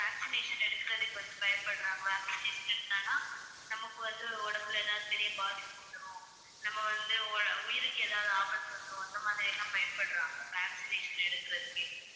vaccination எடுக்குறதுக்கு வந்து பயப்படுறாங்க. vaccination நமக்கு வந்து உடம்புல ஏதாவது பெரிய பாதிப்பு வந்துரும் நம்ம வந்து உ~ உயிருக்கு ஏதாவது ஆபத்து வந்துடும் அந்த மாதிரியெல்லாம் பயப்படுறாங்க vaccination எடுக்கறதுக்கே.